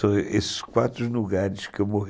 São esses quatro lugares que eu